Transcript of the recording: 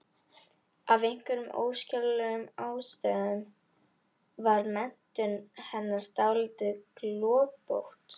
Af einhverjum óskiljanlegum ástæðum var menntun hennar dálítið gloppótt.